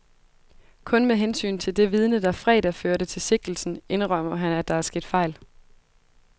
Kun med hensyn til det vidne, der fredag førte til sigtelsen, indrømmer han, at der er sket fejl.